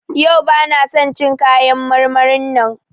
Yau bana son cin kayan marmarin nan.